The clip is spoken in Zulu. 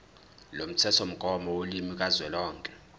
lomthethomgomo wolimi kazwelonke